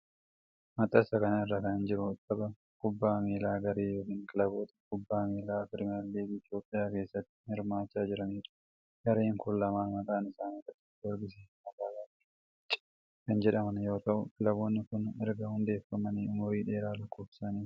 Maxxansa kana irra kan jiru, tapha kubbaa miilaa garee yookin kilaboota kubbaa miilaa piriimar liigii Itoophiyaa keessatti hirmaachaa jiranii dha. Gareen kun lamaan maqaan isaanii Qiddus Giyoorgisii fi magaalaa Arbaa MInch kan jedhaman yoo ta'u, kilaboonni kun erga hundeeffamanii umurii dheeraa lakkoofsisaniiru.